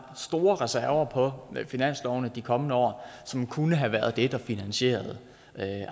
store reserver på finanslovene i de kommende år som kunne have været det der finansierede